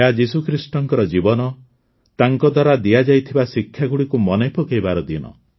ଏହା ଯୀଶୁଖ୍ରୀଷ୍ଟଙ୍କ ଜୀବନ ତାଙ୍କଦ୍ୱାରା ଦିଆଯାଇଥିବା ଶିକ୍ଷାଗୁଡ଼ିକୁ ମନେପକାଇବାର ଦିନ